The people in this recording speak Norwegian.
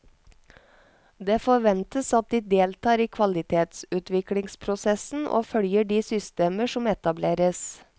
Det forventes at de deltar i kvalitetsutviklingsprosessen og følger de systemer som etableres.